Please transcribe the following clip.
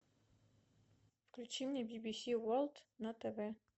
включи мне би би си ворлд на тв